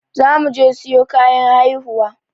Zamu je siyo kayan haihuwa.